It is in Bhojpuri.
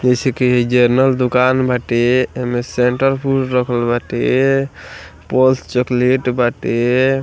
जैसे की इ जेनरल दुकान बाटे एमे सेंट्रल फ़ूड रखल बाटे पल्स चॉकलेट बाटे।